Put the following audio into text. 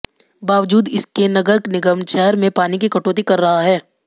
बावजूद इसके नगर निगम शहर में पानी की कटौती कर रहा है